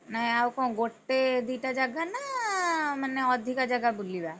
ନାଇଁ ଆଉ କଣ ଗୋଟେ ଦିଟା ଜାଗା ନା ମାନେ ଅଧିକା ଜାଗା ବୁଲିବା?